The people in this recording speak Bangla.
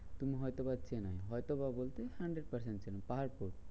তুমি হয়তো বা চেনো হয়তো বা বলছি hundred percent চেনো পাহাড় তো।